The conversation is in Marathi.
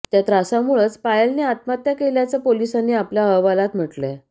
त्या त्रासामुळंच पायलनं आत्महत्या केल्याचं पोलिसांनी आपल्या अहवालात म्हटलंय